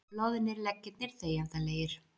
Loðnir leggirnir þegjandalegir.